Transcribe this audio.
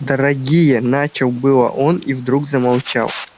дорогие начал было он и вдруг замолчал